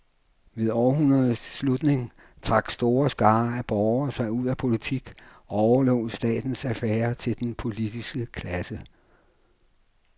Ved århundredets slutning trak store skarer af borgere sig ud af politik og overlod statens affærer til den politiske klasse.